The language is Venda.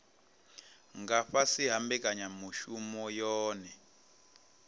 nga fhasi ha mbekanyamushumo yohe